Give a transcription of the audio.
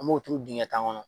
An b'o turu dingɛ tan kɔnɔ.